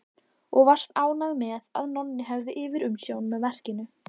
Og varst ánægð með að Nonni hefði yfirumsjón með verkinu.